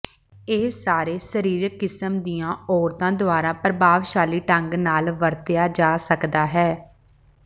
ਇਹ ਸਾਰੇ ਸਰੀਰਿਕ ਕਿਸਮ ਦੀਆਂ ਔਰਤਾਂ ਦੁਆਰਾ ਪ੍ਰਭਾਵਸ਼ਾਲੀ ਢੰਗ ਨਾਲ ਵਰਤਿਆ ਜਾ ਸਕਦਾ ਹੈ